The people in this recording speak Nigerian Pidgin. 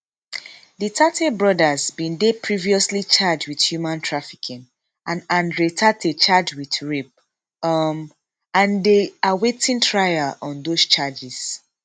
di tate brothers bin dey previously charged wit human trafficking and andrew tate charged wit rape um and dey awaiting trial on dose charges